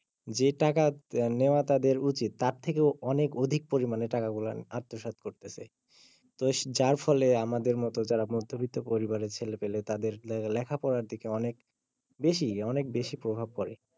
যে টাকা নেওয়া তাদের উচিৎ তার থেকেও অনেক অধিক পরিমানে টাকা গুলা আত্মস্বাদ করতেছে তো যার ফলে আমাদের মতো যারা মধ্যবিত্ত পরিবারের ছেলে পেলে তাদের লেখা পড়ার দিকে অনেক বেশি অনেক বেশি প্রভাব পড়ে।